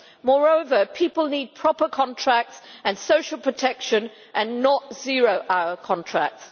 Moreover, people need proper contracts and social protection, and not zero hour contracts.